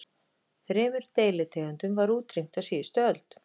Þremur deilitegundum var útrýmt á síðustu öld.